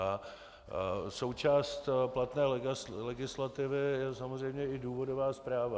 A součást platné legislativy je samozřejmě i důvodová zpráva.